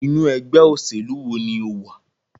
Inú ẹgbẹ́ òṣèlú wo ní o wà?